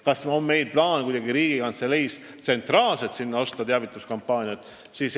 Kas meil Riigikantseleis on plaanis sinna tsentraalselt teavituskampaania jaoks reklaamiaega osta?